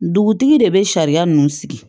Dugutigi de bɛ sariya ninnu sigi